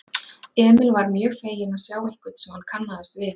Emil varð mjög feginn að sjá einhvern sem hann kannaðist við.